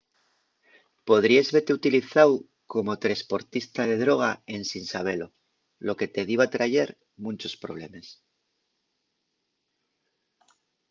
podríes vete utilizáu como tresportista de droga ensin sabelo lo que te diba trayer munchos problemes